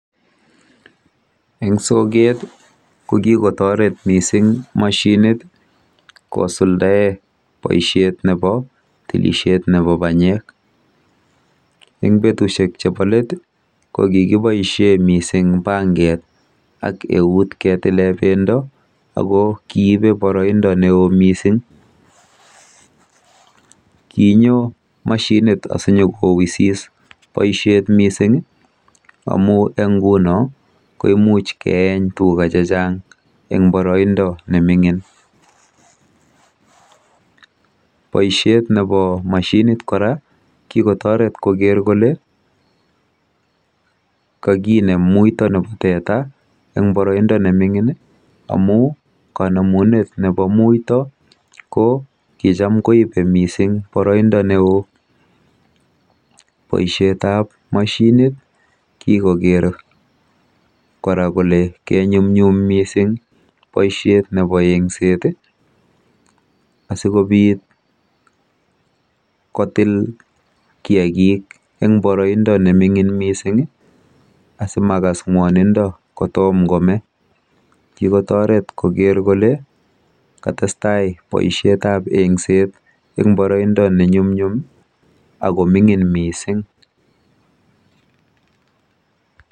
Eng soket ko kikotoret mising mashinit kosuldae boisiet nebo tilisiet nebo banyek. Eng betusiek chebo let ko kikiboisie mising banket ak eut ketile banyek ako kiibe boroindo neoo mising. Kinyo mashinit asinyokowisis boisiet mising amuu eng nguno koimuch keeny tuga chechang eng boroindo neming'in. Boisiet nebo mashinit kikotoret kora koker kole kakinem muito nebo teta eng boroindo neming'in amu kanemunetab muito ko kicham koibe boroindo neo mising